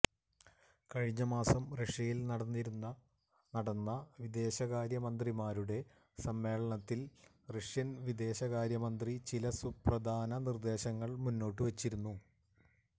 കഴിഞ്ഞ മാസം റഷ്യയില് നടന്ന വിദേശകാര്യ മന്ത്രിമാരുടെ സമ്മേളനത്തില് റഷ്യന് വിദേശകാര്യ മന്ത്രി ചില സുപ്രധാന നിര്ദ്ദേശങ്ങള് മുന്നോട്ട് വെച്ചിരുന്നു